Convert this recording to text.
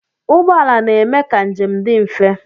Ụgbọala na-eme ka njem dị mfe.